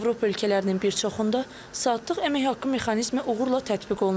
Avropa ölkələrinin bir çoxunda saatlıq əmək haqqı mexanizmi uğurla tətbiq olunur.